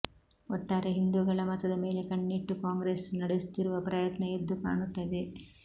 ಒಟ್ಟಾರೆ ಹಿಂದೂಗಳ ಮತದ ಮೇಲೆ ಕಣ್ಣಿಟ್ಟು ಕಾಂಗ್ರೆಸ್ ನಡೆಸುತ್ತಿರುವ ಪ್ರಯತ್ನ ಎದ್ದು ಕಾಣುತ್ತದೆ